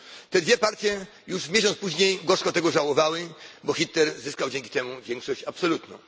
Te dwie partie już miesiąc później gorzko tego żałowały, gdyż Hitler zyskał dzięki temu większość absolutną.